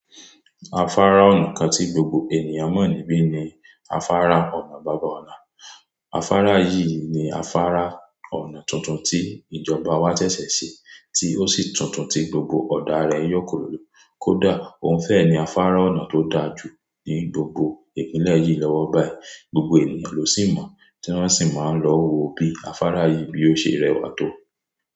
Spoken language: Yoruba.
Afárá ọ̀nà kan tí gbogbo ènìyàn mọ̀ níbí ni afárá ọ̀nà bàbá ọ̀nà. Afárá yìí ni afárá ọ̀nà tuntun tí ìjọba wa sẹ́sẹ̀ ṣe tí ó sì tuntun tí gbogbo ọ̀dà rẹ̀ yọ̀kùlù. Kódà ohun fẹ́ ni afárá ọ̀nà tó dáa jù ní gbogbo ìpínlẹ̀ yìí lọ́wọ́ báyìí, gbogbo ènìyàn ló sì mọ̀ tí wọ́n sì máa ń lọ òwò bí afárá yìí bí ó ṣe rẹwà tó.